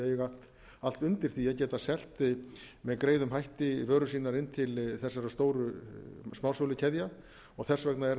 að þau eiga allt undir því að geta selt með greiðum hætti vörur sínar i til þessara stóru smásölukeðja þess vegna er